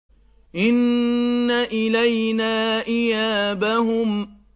إِنَّ إِلَيْنَا إِيَابَهُمْ